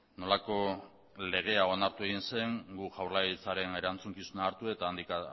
nolako legea onartu egin zen gu jaurlaritzaren erantzukizuna hartu eta handik